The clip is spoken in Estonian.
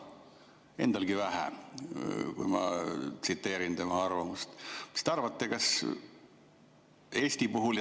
Endalgi vähe, kui ma tsiteerin tema arvamust.